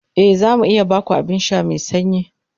E, za mu iya ba ku abin sha mai sanyi.